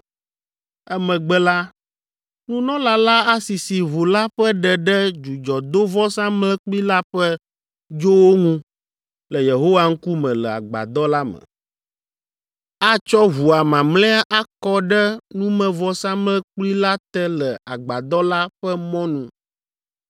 Emegbe la, nunɔla la asisi ʋu la ƒe ɖe ɖe dzudzɔdovɔsamlekpui la ƒe dzowo ŋu le Yehowa ŋkume le Agbadɔ la me; atsɔ ʋua mamlɛa akɔ ɖe numevɔsamlekpui la te le Agbadɔ la ƒe mɔnu.